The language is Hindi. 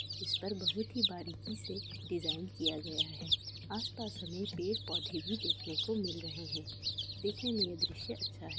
इस पर बहुत ही बारीकी से डिज़ाइन किया गया है| आस-पास हमें पेड़-पौधे भी देखने को मिल रहे हैं| देखने में ये दृश्य अच्छा है।